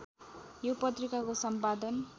यो पत्रिकाको सम्पादन